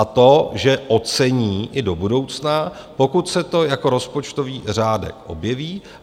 A to že ocení i do budoucna, pokud se to jako rozpočtový řádek objeví.